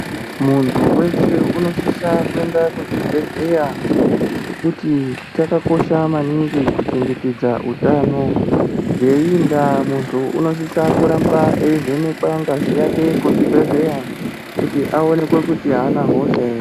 Muntu weshe unosisa kuende kuzvibhedhleya ngekuti chakakosha maningi kuchengetedza utano. Ngeii ndaa muntu unosisa kuramba eivhenekwa ngazi yake kuzvibhedhleya kuti aonekwe kuti aana hosha ere.